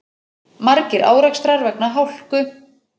Margir árekstrar vegna hálku